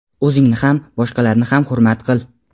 O‘zingni ham, boshqalarni ham hurmat qil.